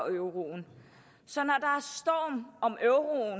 euroen så